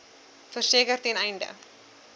verseker ten einde